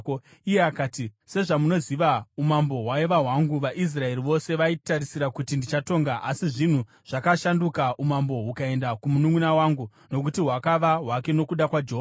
Iye akati, “Sezvamunoziva, umambo hwaiva hwangu. VaIsraeri vose vaitarisira kuti ndichatonga. Asi zvinhu zvakashanduka, umambo hukaenda kumununʼuna wangu; nokuti hwakava hwake nokuda kwaJehovha.